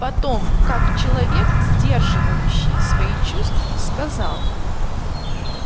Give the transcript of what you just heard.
потом как человек сдерживающий свои чувства сказал